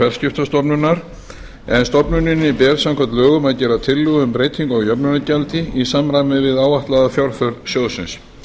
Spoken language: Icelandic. fjarskiptastofnunar en stofnuninni ber samkvæmt lögum að gera tillögu um breytingu á jöfnunargjaldi í samræmi við áætlaða fjárþörf sjóðsins